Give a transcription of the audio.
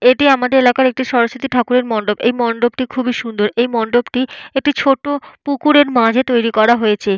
এটি আমাদের এলাকার একটি সরস্বতী ঠাকুরের মণ্ডপ। এই মন্ডপটি খুবই সুন্দর। এই মন্ডপ একটি ছোট পুকুরের মাঝে তৈরি করা হয়েছে।